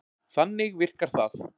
Þannig virkar það.